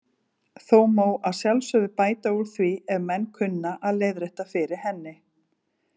Þó má að sjálfsögðu bæta úr því ef menn kunna að leiðrétta fyrir henni.